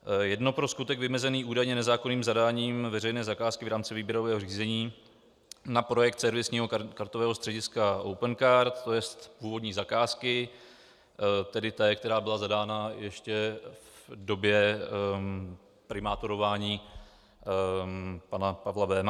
Jedno pro skutek vymezený údajně nezákonným zadáním veřejné zakázky v rámci výběrového řízení na projekt servisního kartového střediska Opencard, to jest původní zakázky, tedy té, která byla zadána ještě v době primátorování pana Pavla Béma.